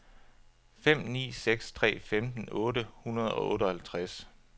fem ni seks tre femten otte hundrede og otteoghalvtreds